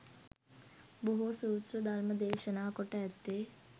බොහෝ සූත්‍ර ධර්ම දේශනා කොට ඇත්තේ